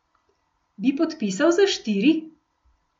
Bi podpisal za štiri?